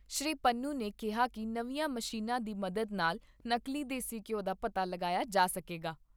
ਸ੍ਰੀ ਪੰਨੂ ਨੇ ਕਿਹਾ ਕਿ ਨਵੀਆਂ ਮਸ਼ੀਨਾਂ ਦੀ ਮਦਦ ਨਾਲ ਨਕਲੀ ਦੇਸੀ ਘਿਉ ਦਾ ਪਤਾ ਲਗਾਇਆ ਜਾ ਸਕੇਗਾ।